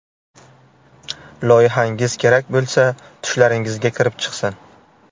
Loyihangiz kerak bo‘lsa tushlaringizga kirib chiqsin.